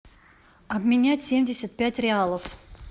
обменять семьдесят пять реалов